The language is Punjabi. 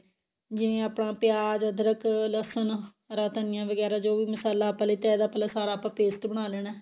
ਜਿਵੇਂ ਆਪਣਾ ਪਿਆਜ ਅਦਰਕ ਲਸਣ ਹਰਾ ਧਨੀਆ ਵਗੈਰਾ ਜੋ ਵੀ ਮਸਾਲਾ ਆਪਾਂ ਲੀਤਾ ਇਹਦਾ ਪਹਿਲਾਂ ਸਾਰਾ ਆਪਾਂ paste ਬਣਾ ਲੈਣਾ